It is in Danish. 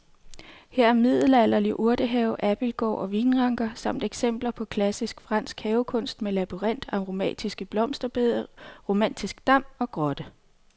Her er middelalderlig urtehave, abildgård og vinranker samt eksempler på klassisk fransk havekunst med labyrint, aromatiske blomsterbede, romantisk dam og grotte.